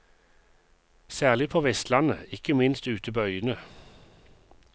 Særlig på vestlandet, ikke minst ute på øyene.